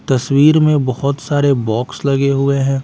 तस्वीर में बहुत सारे बॉक्स लगे हुए हैं।